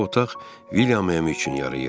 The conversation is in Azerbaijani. Bu otaq William üçün yarayır.